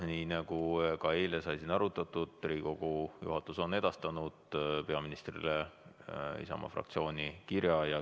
Nii nagu ka eile sai siin arutatud, Riigikogu juhatus on edastanud peaministrile Isamaa fraktsiooni kirja.